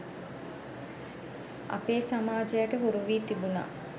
අපේ සමාජයට හුරුවී තිබුණා.